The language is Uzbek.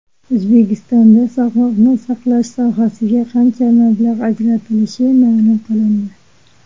O‘zbekistonda sog‘liqni saqlash sohasiga qancha mablag‘ ajratilishi ma’lum qilindi.